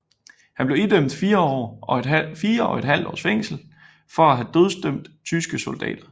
Han blev idømt fire og et halvt års fængsel for at have dødsdømt tyske soldater